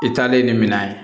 I taalen ni minɛn ye